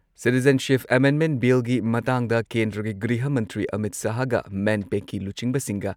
citizenship amendment ꯕꯤꯜꯒꯤ ꯃꯇꯥꯡꯗ ꯀꯦꯟꯗ꯭ꯔꯒꯤ ꯒ꯭ꯔꯤꯍ ꯃꯟꯇ꯭ꯔꯤ ꯑꯃꯤꯠ ꯁꯍꯥꯍꯒ ꯃꯦꯟꯄꯦꯛꯀꯤ ꯂꯨꯆꯤꯡꯕꯁꯤꯡꯒ